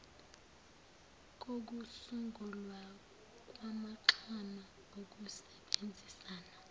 kokusungulwa kwamaxhama okusebenzisana